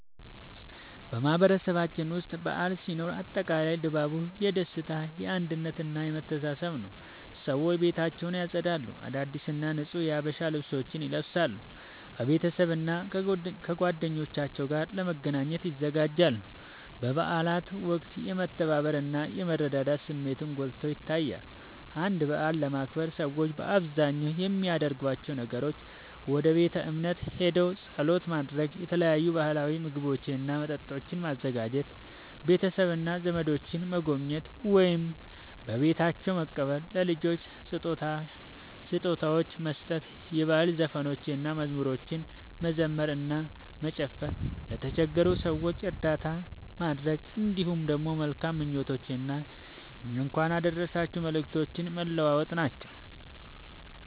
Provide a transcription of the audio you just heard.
በማህበረሰባችን ውስጥ በዓል ሲኖር አጠቃላይ ድባቡ የደስታ፣ የአንድነት እና የመተሳሰብ ነዉ። ሰዎች ቤታቸውን ያጸዳሉ፣ አዳዲስ እና ንጹህ የሀበሻ ልብሶችን ይለብሳሉ፣ ከቤተሰብና ከጓደኞቻቸው ጋር ለመገናኘት ይዘጋጃሉ። በበዓላት ወቅት የመተባበር እና የመረዳዳት ስሜትን ጎልቶ ይታያል። አንድን በዓል ለማክበር ሰዎች በአብዛኛው የሚያደርጓቸው ነገሮች፦ ወደ ቤተ እምነት ሄደው ጸሎት ማድረግ፣ የተለያዩ ባህላዊ ምግቦችና መጠጦችን ማዘጋጀ፣ ቤተሰብና ዘመዶችን መጎብኘት ወይም በቤታቸው መቀበል፣ ለልጆች ስጦታዎችን መስጠት፣ የባህል ዘፈኖችንና መዝሙሮችን መዘመር እና መጨፈር፣ ለተቸገሩ ሰዎች እርዳታ ማድረግ፣ እንዲሁም መልካም ምኞቶችንና የእንኳን አደረሳችሁ መልእክቶችን መለዋወጥ ናቸዉ።